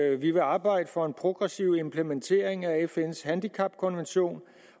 at vi vil arbejde for en progressiv implementering af fns handicapkonvention